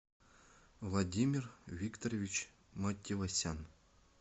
владимир викторович матевосян